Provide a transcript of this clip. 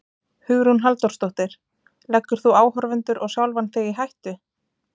Hugrún Halldórsdóttir: Leggur þú áhorfendur og sjálfan þig í hættu?